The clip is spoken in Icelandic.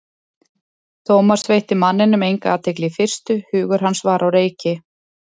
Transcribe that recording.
Thomas veitti manninum enga athygli í fyrstu, hugur hans var á reiki.